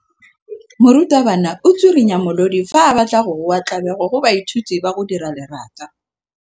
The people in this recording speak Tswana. Morutwabana o tswirinya molodi fa a batla go goa tlabego go baithuti ba go dira lerata.